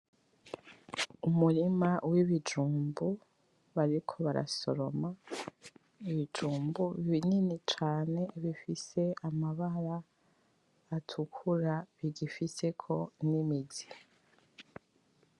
Umurima w'ibijumbu bariko barasoroma, n'ibijumbu binini cane bifise amabara atukura bigifiseko nimizi.